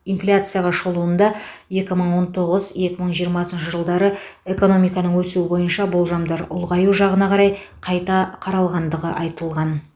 инфляцияға шолуында екі мың он тоғыз екі мың жиырмасыншы жылдары экономиканың өсуі бойынша болжамдар ұлғаю жағына қарай қайта қаралғандығы айтылған